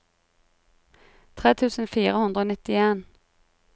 tre tusen fire hundre og nittien